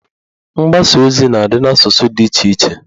Mgbasa ozi na adị n'asụsụ dị iche iche